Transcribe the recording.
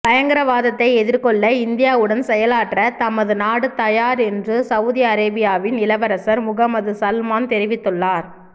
பயங்கரவாதத்தை எதிர்கொள்ள இந்தியாவுடன் செயலாற்ற தமது நாடு தயார் என்று சவூதி அரேபியாவின் இளவரசர் முகம்மது சல்மான் தெரிவித்துள்ளார்